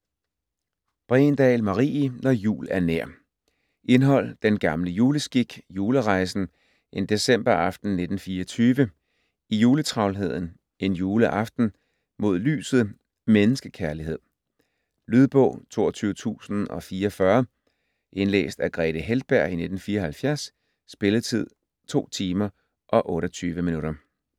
Bregendahl, Marie: Når jul er nær Indhold: Den gamle juleskik ; Julerejsen ; En decemberaften 1924 ; I juletravlheden ; En juleaften ; Mod lyset ; Menneskekærlighed. Lydbog 22044 Indlæst af Grethe Heltberg, 1974. Spilletid: 2 timer, 28 minutter.